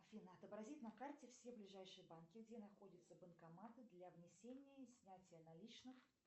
афина отобразить на карте все ближайшие банки где находятся банкоматы для внесения и снятия наличных